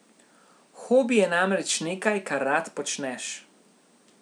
Hobi je namreč nekaj, kar rad počneš.